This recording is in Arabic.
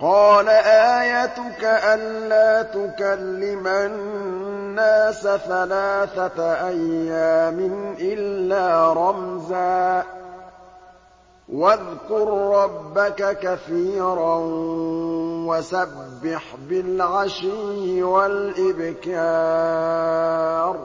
قَالَ آيَتُكَ أَلَّا تُكَلِّمَ النَّاسَ ثَلَاثَةَ أَيَّامٍ إِلَّا رَمْزًا ۗ وَاذْكُر رَّبَّكَ كَثِيرًا وَسَبِّحْ بِالْعَشِيِّ وَالْإِبْكَارِ